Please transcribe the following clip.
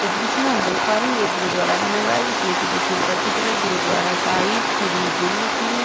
इस दृश्य मे हम देख पा रहे एक ये गुरुद्वारा बना हुआ जिसमें की देखिए ऊपर की तरफ गुरुद्वारा साहिब श्री गुरु सिंह --